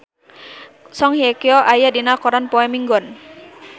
Song Hye Kyo aya dina koran poe Minggon